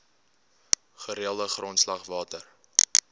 gereelde grondslag water